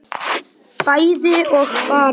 bæði og bara